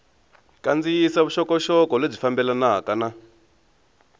kandziyisa vuxokoxoko lebyi fambelanaka na